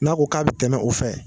N'a ko k'a bi tɛmɛ o fɛ